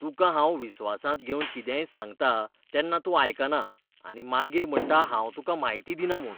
तुका हांव विस्वासांत घेवन कितेंय सांगतां तेन्ना तूं आयकना आनी मागीर म्हणटा हांव तुका म्हायती दिना म्हूण.